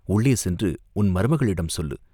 உள்ளே சென்று உன் மருமகளிடம் சொல்லு!